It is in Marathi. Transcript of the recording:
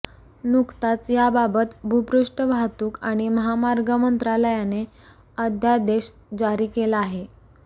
नुकताच याबाबत भूपृष्ठ वाहतूक आणि महामार्ग मंत्रालयाने अध्यादेश जारी केला आहे